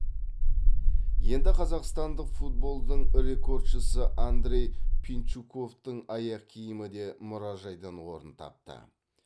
енді қазақстандық футболдың рекордшысы андрей пинчуковтың аяқ киімі де мұражайдан орын тапты